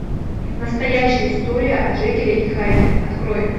настоящая история о джекиле и хайде открой